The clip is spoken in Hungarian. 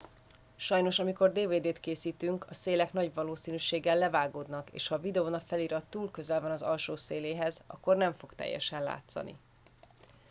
sajnos amikor dvd t készítünk a szélek nagy valószínűséggel levágódnak és ha a videón a felirat túl közel van az alsó széléhez akkor nem fog teljesen látszani